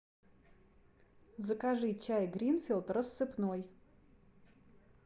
закажи чай гринфилд рассыпной